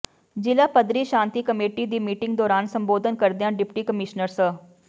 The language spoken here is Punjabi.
ਜ਼ਿਲ੍ਹਾ ਪੱਧਰੀ ਸ਼ਾਂਤੀ ਕਮੇਟੀ ਦੀ ਮੀਟਿੰਗ ਦੌਰਾਨ ਸੰਬੋਧਨ ਕਰਦਿਆਂ ਡਿਪਟੀ ਕਮਿਸ਼ਨਰ ਸ